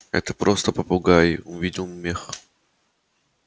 это просто попугай увидел мех